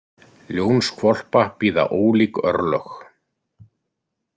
Ljónshvolpa bíða ólík örlög.